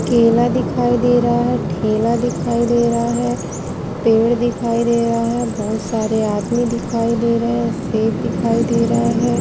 केला दिखाई दे रहा है। ठेला दिखाई दे रहा है। पेड़ दिखाई दे रहा है। बहोत सारे आदमी दिखाई दे रहे हैं। सेब दिखाई दे रहा है।